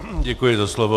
Děkuji za slovo.